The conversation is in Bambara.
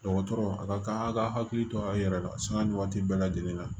Dɔgɔtɔrɔ a ka kan a' ka hakili to a yɛrɛ la sanga ni waati bɛɛ lajɛlen na